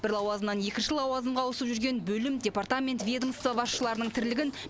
бір лауазымнан екінші лауазымға ауысып жүрген бөлім департамент ведомство басшыларының тірлігін